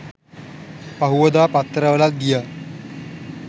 පහුවදා පත්තරවලත් ගියා